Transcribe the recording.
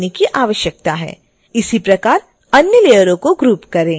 इसी प्रकार अन्य लेयरों को ग्रुप करें